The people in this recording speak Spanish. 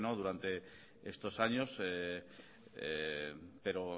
durante estos años pero